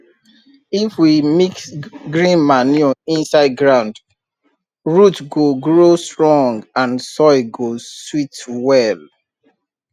if we mix green manure inside ground root go grow strong and soil go sweet well